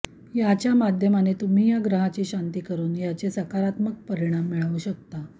याच्या माध्यमाने तुम्ही या ग्रहाची शांती करून याचे सकारात्मक परिणाम मिळवू शकता